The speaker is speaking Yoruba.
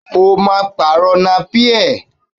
O máa pàrọ̀ napí ẹ̀!